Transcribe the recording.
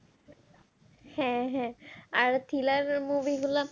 হ্যাঁ হ্যাঁ আর thriller movie গুলো